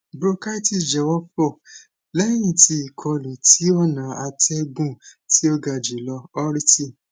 bronchitis jẹ wọpọ lẹyin ti ikolu ti ọna atẹgun ti o ga julọ urti